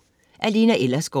Af Lena Ellersgaard